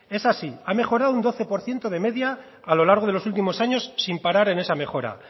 es así ha mejorado un doce por ciento de media a lo largo de los últimos años sin parar en esa mejora